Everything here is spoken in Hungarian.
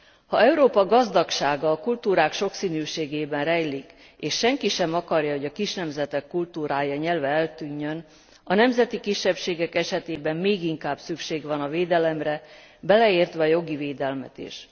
Ha Európa gazdagsága a kultúrák sokszínűségében rejlik, és senki sem akarja, hogy a kis nemzetek kultúrája, nyelve eltűnjön, a nemzeti kisebbségek esetében még inkább szükség van a védelemre, beleértve a jogi védelmet is.